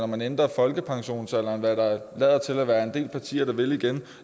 man ændrer folkepensionsalderen hvad der lader til at være en del partier der vil igen